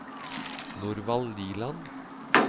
Norvald Liland